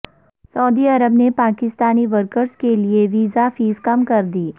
سعودی عرب نے پاکستانی ورکرز کیلئے ویزہ فیس کم کر دی